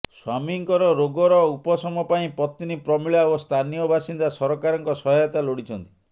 ସ୍ବାମୀଙ୍କର ରୋଗର ଉପସମ ପାଇଁ ପତ୍ନୀ ପ୍ରମିଳା ଓ ସ୍ଥାନୀୟ ବାସିନ୍ଦା ସରକାରଙ୍କ ସହାୟତା ଲୋଡିଛନ୍ତି